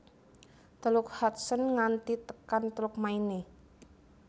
Teluk Hudson nganti tekan Teluk Maine